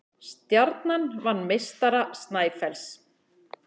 Stjarnan vann meistara Snæfells